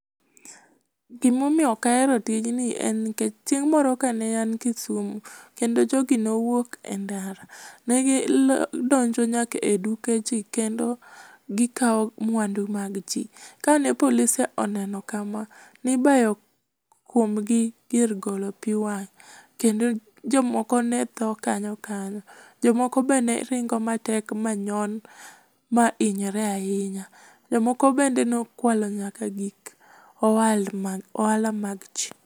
Gimomio okaero tijni en nkech chieng' moro kanean Kisumu, kendo jogi nowuok e ndara. Negi lo donjo nyaka e duke jii kendo gikao mwandu mag jii. Kane polise oneno kama, nibayo kwomgi gir golo piwang', kendo jomoko ne thoo kanyo kanyo. Jomoko be neringo matek manyon mainyre ainya. Jomoko bende nokwalo nyaka gik oalma oala mag jii.